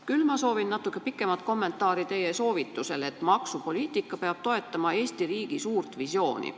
Küll soovin natuke pikemat kommentaari teie soovitusele, et maksupoliitika peab toetama Eesti riigi suurt visiooni.